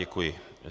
Děkuji.